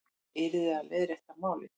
Ég yrði að leiðrétta málið.